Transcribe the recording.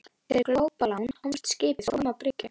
Fyrir glópalán komst skipið þó upp að bryggju.